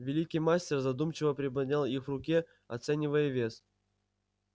великий мастер задумчиво приподнял их в руке оценивая вес